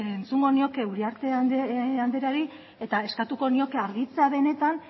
entzungo nioke uriarte andreari eta eskatuko nioke argitzea benetan